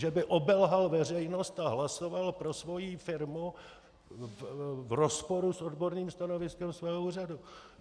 Že by obelhal veřejnost a hlasoval pro svou firmu v rozporu s odborným stanoviskem svého úřadu.